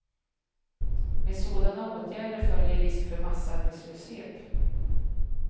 Med sådana åtgärder följer risk för massarbetslöshet.